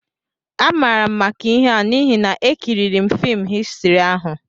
Amaara m maka ihe a n'ihi na ekiriri m fim Histrị ahụ